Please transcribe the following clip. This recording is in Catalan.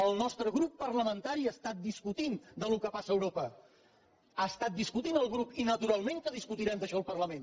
el nostre grup parlamentari ha estat discutint del que passa a europa ha estat discutint el grup i naturalment que discutirem d’això al parlament